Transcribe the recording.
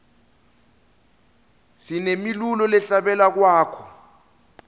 sinemilulo lehla bele lwako